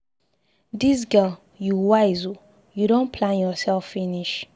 Dis girl, you wise ooo, you don plan yourself finish.